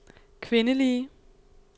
kvindelige